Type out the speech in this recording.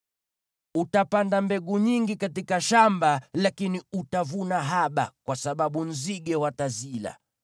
Utapanda mbegu nyingi katika shamba lakini utavuna haba, kwa sababu nzige watazila.